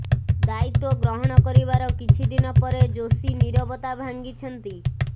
ଦାୟିତ୍ୱ ଗ୍ରହଣ କରିବାର କିଛିଦିନ ପରେ ଯୋଶୀ ନୀରବତା ଭାଙ୍ଗିଛନ୍ତି